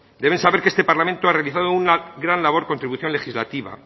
deben saber que este parlamento ha realizado una gran labor contribución legislativa